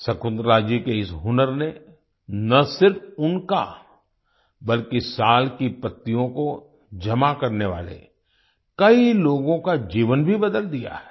शकुंतला जी के इस हुनर ने न सिर्फ उनका बल्कि साल की पत्तियों को जमा करने वाले कई लोगों का जीवन भी बदल दिया है